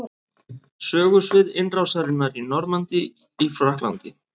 Sögusvið innrásarinnar í Normandí í Frakklandi.